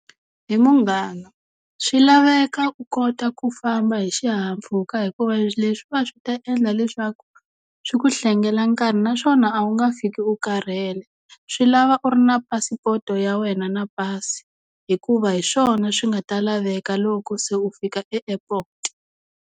He munghana, swi laveka u kota ku famba hi xihahampfhuka hikuva leswiwa swi ta endla leswaku swi ku hlengelela nkarhi naswona a wu nga fiki u karhele swi lava u ri na phasipoto ya wena na pasi hikuva hi swona swi nga ta laveka loko se u fika e-airport.